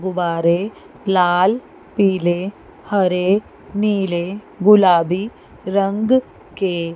गुब्बारे लाल पीले हरे नीले गुलाबी रंग के--